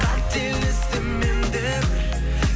қателестім мен де бір